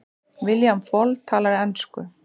William Fall talar á ensku.